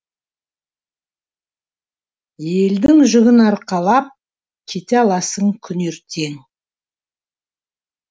елдің жүгін арқалап кете аласың күн ертең